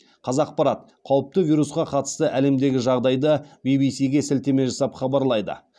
қазақпарат қауіпті вирусқа қатысты әлемдегі жағдайды ввс ге сілтеме жасап хабарлайды